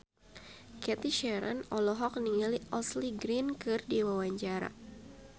Cathy Sharon olohok ningali Ashley Greene keur diwawancara